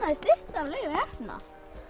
er stytta af Leifi heppna